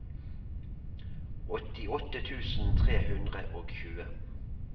åttiåtte tusen tre hundre og tjue